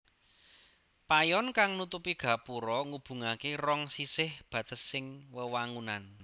Payon kang nutupi gapura ngubungaké rong sisih batesing wewangunan